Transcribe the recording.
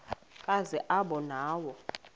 kazi aba nawo